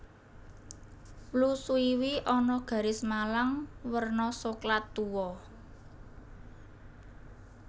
Wlu swiwi ana garis malang werna soklat tuwa